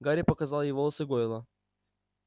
гарри показал ей волосы гойла